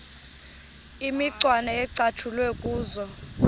imicwana ecatshulwe kuzo